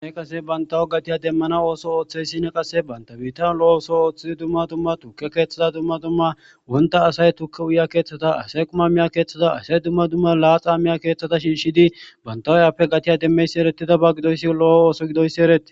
eqase bantawo gatiya demmana ooso ooththey sine qase banta biitan lo7o ooso ooththidi dumma tumma tukke keeththada dumma tumma wonta asay tukke uya keeththata asay qumma miya keeththada asay dumma dumma laaxa miya keeththata shinshidi bantawayappe gatiya demmeysi eretida ba gidoyssi lo7o ooso gidoyssi ereti